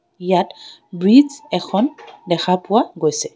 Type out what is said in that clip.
ইয়াত ব্ৰিজ এখন দেখা পোৱা গৈছে।